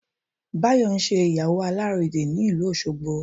Báyọ̀ ń ṣe ìyàwó alàrédè ní ìlú Òṣogbo